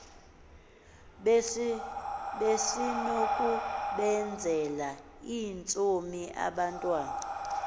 besinokubenzela iintsomi abantwana